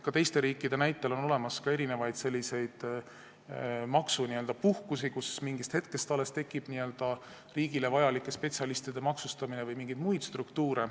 Ka teiste riikide näitel on olemas erinevaid maksupuhkusi, kui alles mingist hetkest algab riigile vajalike spetsialistide maksustamine, on ka mingeid muid struktuure.